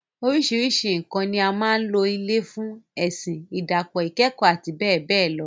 Oríṣiríṣi nǹkan ni a máa ń lò ilé fún - ẹ̀sìn, ìdàpọ̀, ikekoo, àti bẹ́ẹ̀ bẹ́ẹ̀ lọ.